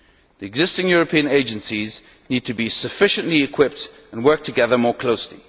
The existing European agencies need to be sufficiently equipped and work together more closely.